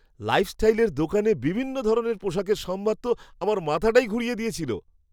লাইফস্টাইলের দোকানে বিভিন্ন ধরনের পোশাকের সম্ভার তো আমার মাথাটাই ঘুরিয়ে দিয়েছিল!